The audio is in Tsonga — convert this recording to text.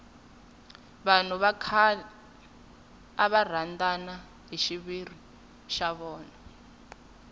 vanhu va khale ava rhandana hi xiviri xa vona